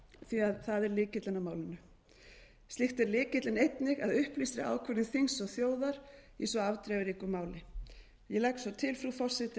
því að það er lykillinn að málinu slíkt er lykillinn einnig að upplýstri ákvörðun þings og þjóðar í svo afdrifaríku máli ég legg svo til frú forseti